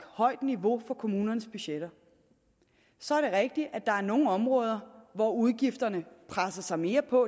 højt niveau for kommunernes budgetter så er det rigtigt at der er nogle områder hvor udgifterne presser sig mere på